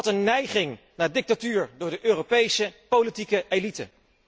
Wat een neiging naar dictatuur door de Europese politieke elite.